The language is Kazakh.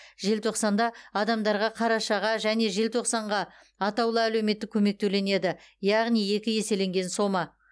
желтоқсанда адамдарға қарашаға және желтоқсанға атаулы әлеуметтік көмек төленеді яғни екі еселенген сома